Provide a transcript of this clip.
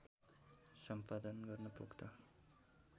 सम्पादन गर्न पोख्त